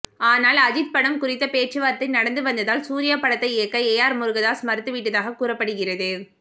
ஆனால் அஜித் படம் குறித்த பேச்சுவார்த்தை நடந்து வந்ததால் சூர்யா படத்தை இயக்க ஏ ஆர் முருகதாஸ் மறுத்துவிட்டதாக கூறப்படுகிறது